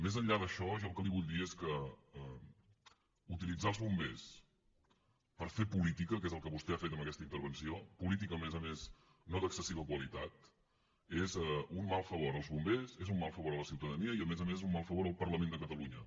més enllà d’això jo el que li vull dir és que utilitzar els bombers per fer política que és el que vostè ha fet amb aquesta intervenció política a més a més no d’excessiva qualitat és un mal favor als bombers és un mal favor a la ciutadania i a més a més és un mal favor al parlament de catalunya